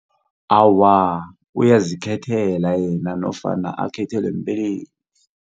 Awa uyazikhethela yena nofana akhethelwe mbelethi.